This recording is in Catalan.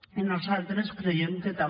i nosaltres creiem que també